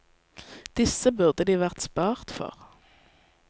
Disse burde de vært spart for.